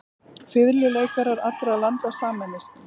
Fiðluleikarar allra landa sameinist.